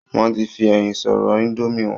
Wọ́n ti fi ẹyin sórí indomie wọn